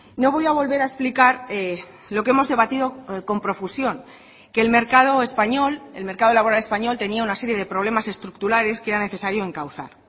no voy a volver a explicar lo que hemos debatido con profusión que el mercado español el mercado laboral español tenía una serie de problemas estructurales que era necesario encauzar